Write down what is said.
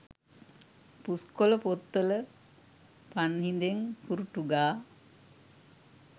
පුස්කොල පොත්වල පන්හි‍ඳෙන් කුරුටු ගා